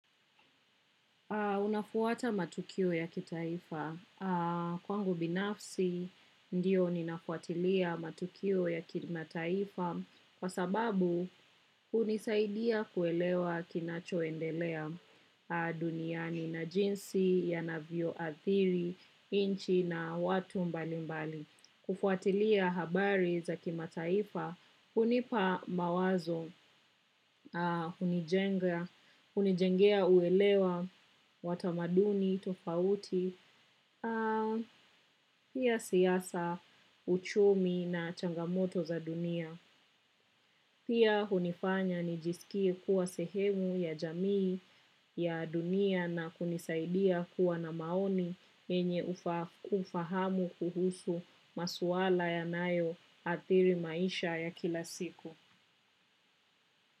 Unafuata matukio ya kitaifa? Kwangu binafsi, ndio ninafuatilia matukio ya kimataifa kwa sababu hunisaidia kuelewa kinachoendelea duniani na jinsi, yanavyo athiri, nchi na watu mbalimbali. Kufuatilia habari za kimataifa, hunipa mawazo, hunijenga, hunijengea uelewa, wa tamaduni tofauti, pia siasa, uchumi na changamoto za dunia. Pia hunifanya nijisikie kuwa sehemu ya jamii ya dunia na kunisaidia kuwa na maoni yenye ufahamu kuhusu maswala yanayoathiri maisha ya kila siku.